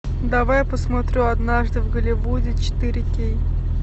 давай посмотрю однажды в голливуде четыре кей